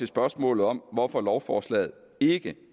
spørgsmålet om hvorfor lovforslaget ikke